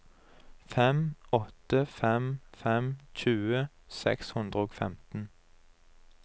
fem åtte fem fem tjue seks hundre og femten